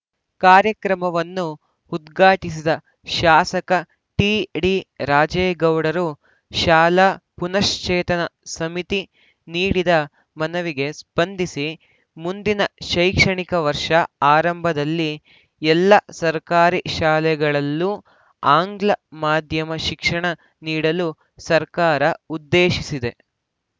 ಕಾರ್ಯಕ್ರಮವನ್ನು ಉದ್ಘಾಟಿಸಿದ ಶಾಸಕ ಟಿಡಿರಾಜೇಗೌಡರು ಶಾಲಾ ಪುನಶ್ಚೇತನ ಸಮಿತಿ ನೀಡಿದ ಮನವಿಗೆ ಸ್ಪಂದಿಸಿ ಮುಂದಿನ ಶೈಕ್ಷಣಿಕ ವರ್ಷ ಆರಂಭದಲ್ಲಿ ಎಲ್ಲ ಸರ್ಕಾರಿ ಶಾಲೆಗಳಲ್ಲೂ ಆಂಗ್ಲ ಮಾಧ್ಯಮ ಶಿಕ್ಷಣ ನೀಡಲು ಸರ್ಕಾರ ಉದ್ದೇಶಿಸಿದೆ